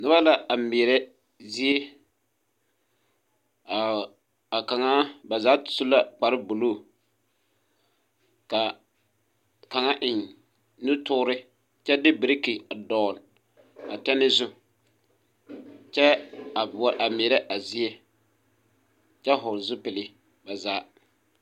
Noba la a mɛɛrɛ zie a kaŋa ba zaa su la kparebluu ka kaŋa eŋ nutoore kyɛ de biriki a dɔgle a tɛne zu kyɛ a mɛɛrɛ a zie kyɛ hɔɔle zupile ba zaa.